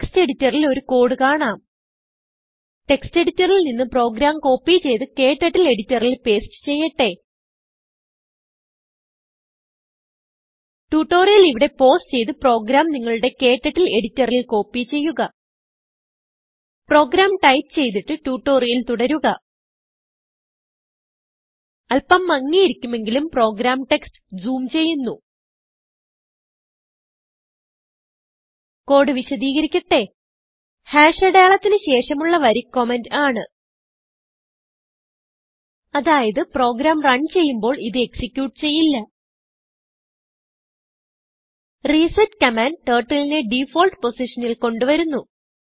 text editor ൽ ഒരു code കാണാം textഎഡിറ്ററിൽ നിന്ന് പ്രോഗ്രാം കോപ്പി ചെയ്ത് ക്ടർട്ടിൽ എഡിറ്ററിൽ പേസ്റ്റ് ചെയ്യട്ടെ ട്യൂട്ടോറിയൽ ഇവിടെ പൌസ് ചെയ്ത് പ്രോഗ്രാം നിങ്ങളുടെ ക്ടർട്ടിൽ editorilൽ കോപ്പി ചെയ്യുക പ്രോഗ്രാം ടൈപ്പ് ചെയ്തിട്ട് ട്യൂട്ടോറിയൽ തുടരുക അല്പം മങ്ങിയിരിക്കുമെങ്കിലും പ്രോഗ്രാം ടെക്സ്റ്റ് ജൂം ചെയ്യുന്നു കോഡ് വിശദീകരിക്കട്ടെ അടയാളത്തിന് ശേഷമുള്ള വരി കമന്റ് ആണ് അതായത് പ്രോഗ്രാം റണ് ചെയ്യുമ്പോൾ ഇത് executeചെയ്യില്ല റിസെറ്റ് കമാൻഡ് Turtleനെ ഡിഫോൾട്ട് പൊസിഷനിൽ കൊണ്ട് വരുന്നു